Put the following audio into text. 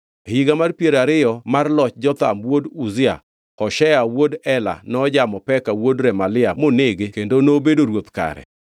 E higa mar piero ariyo mar loch Jotham wuod Uzia; Hoshea wuod Ela nojamo Peka wuod Remalia monege kendo nobedo ruoth kare.